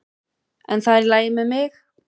En það er í lagi með mig.